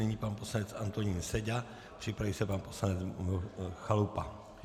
Nyní pan poslanec Antonín Seďa, připraví se pan poslanec Chalupa.